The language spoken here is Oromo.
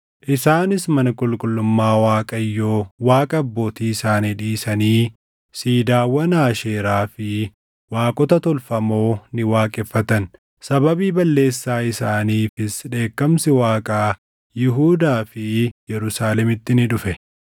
Isaanis mana qulqullummaa Waaqayyoo Waaqa abbootii isaanii dhiisanii siidaawwan Aasheeraa fi waaqota tolfamoo ni waaqeffatan. Sababii balleessaa isaaniifis dheekkamsi Waaqaa Yihuudaa fi Yerusaalemitti ni dhufe.